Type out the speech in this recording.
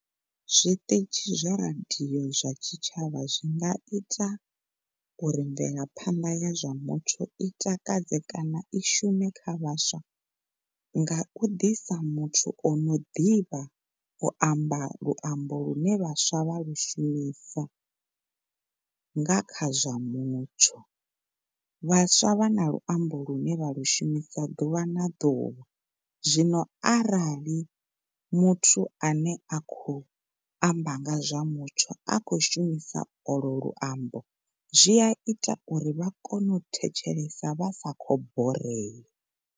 Zwiṱitshi zwa radio zwa tshitshavha zwi nga ita uri mvelaphanḓa ya zwa muthu i takadze kana i shume kha vhaswa nga u ḓisa muthu ono ḓivha u amba luambo lune vhaswa vha lu shumisa nga kha zwa mutsho. Vhaswa vha na luambo lune vha lu shumisa ḓuvha na ḓuvha zwino arali muthu a nea a khou amba nga zwa mutsho a khou shumisa olo luambo zwi a ita uri vha kone u thetshelesa vha sa khou borea.